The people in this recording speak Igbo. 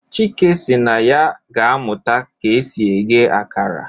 Chike si na ya ga amuta ka esi ighe akara.